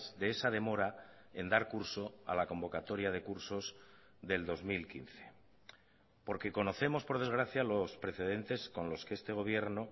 de esa demora en dar curso a la convocatoria de cursos del dos mil quince porque conocemos por desgracia los precedentes con los que este gobierno